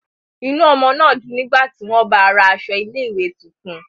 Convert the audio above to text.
Inú ọmọ náà dùn nígbà tí wọ́n báa ra aṣọ ilé-ìwé tuntun.